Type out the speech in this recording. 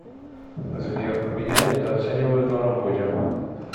сбер меня недооценивают на работе